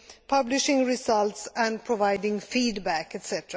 publishing results and providing feedback etc.